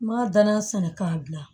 N ma danga sɛnɛ k'a bila